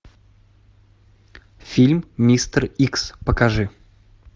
фильм мистер икс покажи